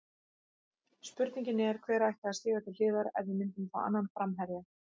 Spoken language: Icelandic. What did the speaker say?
Spurningin er, hver ætti að stíga til hliðar ef við myndum fá annan framherja?